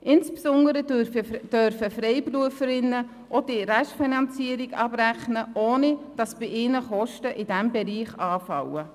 Insbesondere dürfen Freiberuflerinnen auch die Restfinanzierung abrechnen, ohne dass bei ihnen Kosten in diesem Bereich anfallen.